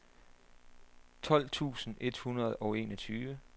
tolv tusind et hundrede og enogtyve